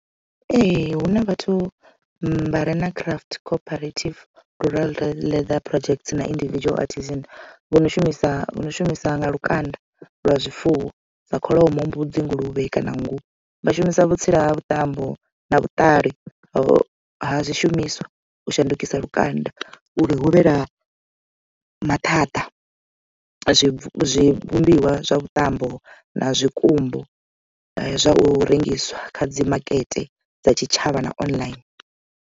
Ee huna vhathu vhare na craft cooperative rural leather project na individual artisan vho no shumisa vhono shumisa na lukanda lwa zwifuwo sa kholomo, mbudzi nguluvhe kana nngu vha shumisa vhutsila ha vhuṱambo na vhuṱali ha zwishumiswa u shandukisa lukanda uri hu vhe na maṱhaṱha zwi vhumbiwa zwa vhuṱambo na zwikumbu zwa u rengiswa kha dzi makete dza tshitshavha na online.